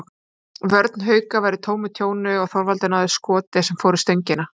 Vörn Hauka var í tómu tjóni og Þorvaldur náði skoti sem fór í stöngina.